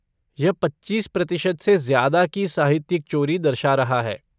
यह पच्चीस प्रतिशत से ज़्यादा की साहित्यिक चोरी दर्शा रहा है।